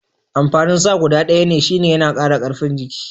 Amfanin sa guda ɗaya ne shine yana kara karfin jiki.